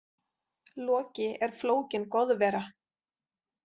Loki er flókin goðvera.